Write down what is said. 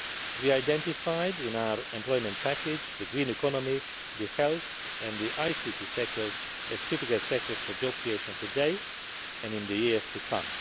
We identified in our employment package the green economy, health and the ICT sectors as critical sectors for job creation today and in the years to come.